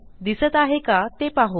दिसत आहे का ते पाहू